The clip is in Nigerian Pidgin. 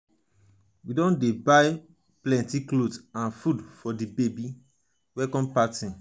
we don dey buy plenty cloth and food for di baby welcome party. party.